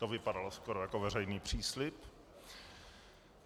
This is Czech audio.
To vypadalo skoro jako veřejný příslib.